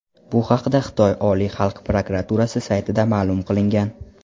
Bu haqda Xitoy Oliy xalq prokuraturasi saytida ma’lum qilingan .